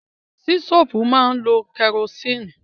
Sítòfù máa lo kẹrosínì.